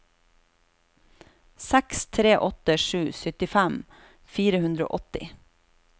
seks tre åtte sju syttifem fire hundre og åtti